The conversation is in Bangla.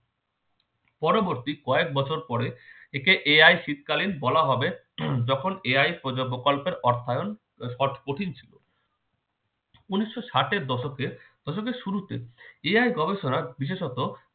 পরবর্তী কয়েক বছর পরে একে AI শীতকালিন বলা হবে যখন প্ৰজ প্রকল্পের অর্থায়ন কঠিন ছিল। উনিশশো ষাট এর দশকে দশকের শুরুতে AI গবেষণার বিশেষত